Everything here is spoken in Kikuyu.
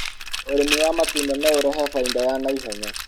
ũrĩmi waatunda no ũrehe faida ya na ihenya